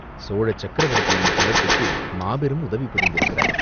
சோழ சக்கரவர்த்தியின் குலத்துக்கு மாபெரும் உதவி புரிந்திருக்கிறாய்.